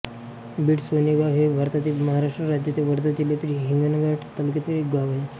बिड सोनेगाव हे भारतातील महाराष्ट्र राज्यातील वर्धा जिल्ह्यातील हिंगणघाट तालुक्यातील एक गाव आहे